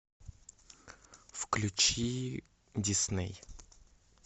включи дисней